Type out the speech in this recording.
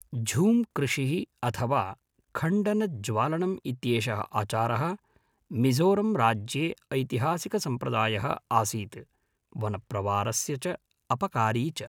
झूंकृषिः अथवा खण्डनज्वालनम् इत्येषः आचारः मिज़ोरंराज्ये ऐतिहासिकसंप्रदायः आसीत्, वनप्रवारस्य च अपकारी च।